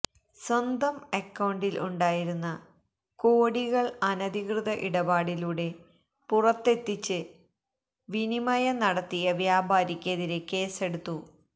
സ്വന്തം അക്കൌണ്ടിൽ ഉണ്ടായിരുന്ന കോടികൾ അനധികൃത ഇടപാടിലൂടെ പുറത്തെത്തിച്ച് വിനിമയം നടത്തിയ വ്യാപാരിക്ക് എതിരെ കേസെടുത്തു